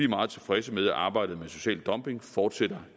meget tilfredse med at arbejdet mod social dumping fortsætter